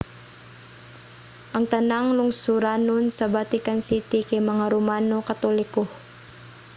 ang tanang lungsuranon sa vatican city kay mga romano katoliko